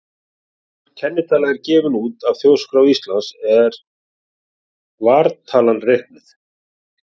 Áður er kennitala er gefin út af Þjóðskrá Íslands er vartalan reiknuð.